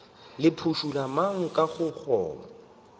le phušula mang ka gobane